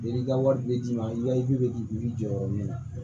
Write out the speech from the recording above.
I ka wari bɛ d'i ma i ka i bɛ k'i jɔyɔrɔ min na